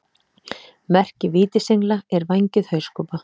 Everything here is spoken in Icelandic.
Merki vítisengla er vængjuð hauskúpa.